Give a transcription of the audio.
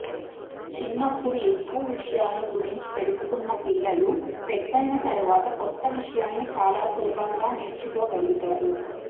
చిన్నప్పుడు ఎక్కువ విషయాలను గురించి తెలుసుకున్న పిల్లలు పెద్దయిన తరువాత కొత్త విషయాలను చాలా సులభంగా నేర్చుకో గలుగుతారు